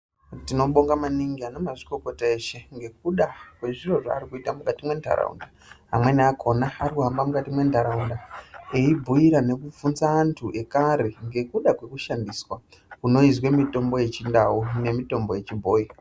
Tino bonga maningi ana mazvikokota eshe ngekuda kwe zviro zvaari kuita mukati me ndaraunda amweni akona ari kuhamba mukati me ndaraunda eyi bhuyira neku bvunza antu ekare ngekuda kweku shandiswa kunoizwe mitombo yechi ndau ne mitombo yechi bhoyi.